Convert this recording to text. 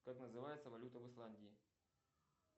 как называется валюта в исландии